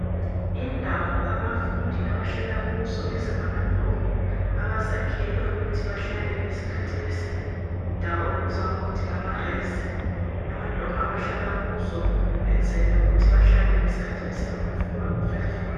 Indawo abafundi abahlala kuzo ezingama dorm, abazakhelwe ukuthi bahlale ngesikhathi besendawo ebizwa ngukuthi ngamares, amadorm abahlala kuzo ukwenzela ukuthi behlale ngesikhathi besefoni.